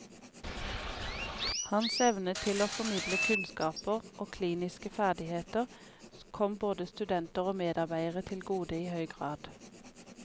Hans evne til å formidle kunnskaper og kliniske ferdigheter kom både studenter og medarbeidere til gode i høy grad.